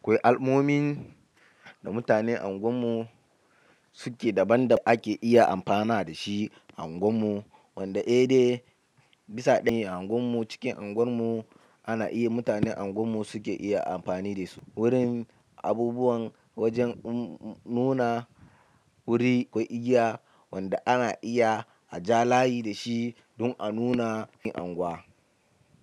Akwai al'ummomin da mutanen unguwar mu suke daban-daban ake iya amfana da shi a unguwar mu, wanda eh dai bisa ɗaya a unguwar mu cikin unguwar mu ana iya mutane unguwar mu suke iya amfani da su. Wurin abubuwan wajen nuna wuri ko igiya wanda ana iya a ja layi da shi don a nuna cikin unguwa.